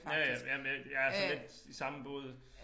Ja ja jamen jeg jeg er sådan lidt i samme båd